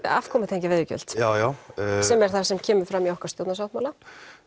afkomu tengja veiðigjöld já já sem er það sem kemur fram í okkar stjórnarsáttmála